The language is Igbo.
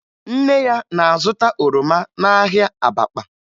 Nne ya na-azụta oroma n'ahịa Abakpa